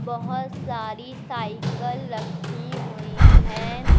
बहुत सारी साइकल रखी हुई हैं।